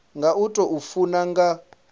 nga u tou funa nga